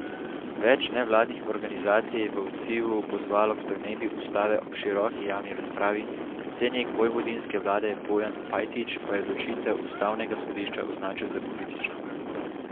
Več nevladnih organizacij je v odzivu pozvalo k spremembi ustave ob široki javni razpravi, predsednik vojvodinske vlade Bojan Pajtić pa je odločitev ustavnega sodišča označil za politično.